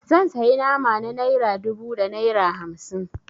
Zan sayi nama na naira dubu da naira hamsin.